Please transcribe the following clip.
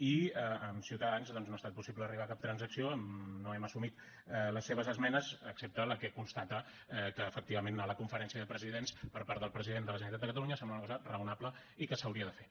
i amb ciutadans doncs no ha estat possible arribar a cap transacció no hem assumit les seves esmenes excepte la que constata que efectivament anar a la conferència de presidents per part del president de la generalitat de catalunya sembla una cosa raonable i que s’hauria de fer